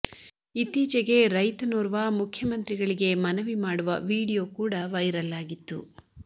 ಇತ್ತೀಚೆಗೆ ರೈತನೊರ್ವ ಮುಖ್ಯಮಂತ್ರಿಗಳಿಗೆ ಮನವಿ ಮಾಡುವ ವೀಡಿಯೋ ಕೂಡ ವೈರಲ್ ಆಗಿತ್ತು